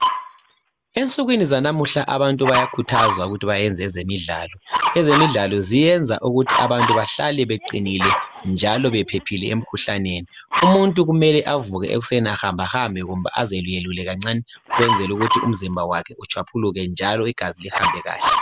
Ensukwini zanamuhla abantu bayakhuthazwa ukuthi benze ezemidlalo. Ezemidlalo ziyenza ukuthi abantu behlale beqinile njalo bephephile emikhuhlaneni. Umuntu kumele avuke ekusen ahambehambe kumbe aziyeluyelulike kancane kwenzela ukuthi umzimba utshwaphuluke njalo igazi lihambe kahle.